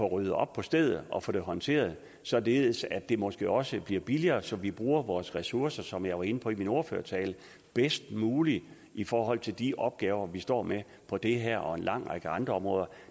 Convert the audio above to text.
ryddet op på stedet og få det håndteret således at det måske også bliver billigere så vi bruger vores ressourcer som jeg var inde på i min ordførertale bedst muligt i forhold til de opgaver vi står med på det her og en lang række andre områder